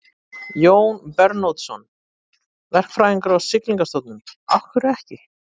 Jón Bernódusson, verkfræðingur á Siglingastofnun: Af hverju ekki?